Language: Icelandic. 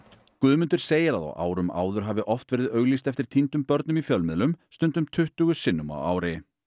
Guðmundur segir að á árum áður hafi oft verið auglýst eftir týndum börnum í fjölmiðlum stundum tuttugu sinnum á ári